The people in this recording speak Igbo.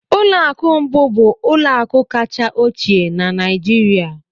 Ụlọ akụ Mbu bụ ụlọ akụ kacha ochie na Nigeria